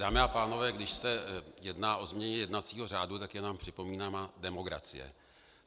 Dámy a pánové, když se jedná o změně jednacího řádu, tak je nám připomínána demokracie.